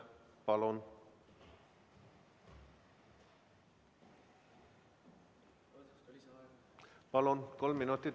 Kolm minutit lisaaega, palun!